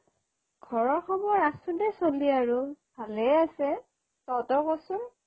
ঘৰৰ খবৰ আছো দে চলি আৰু ভালেই আছে অ তহতৰ ক চোন